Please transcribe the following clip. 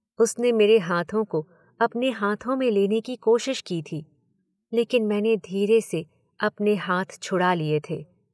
उसने मेरे हाथों को अपने हाथों में लेने की कोशिश की थी, लेकिन मैंने धीरे से अपने हाथ छुड़ा लिए थे।